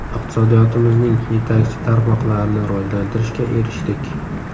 Iqtisodiyotimizning yetakchi tarmoqlarini rivojlantirishga erishdik.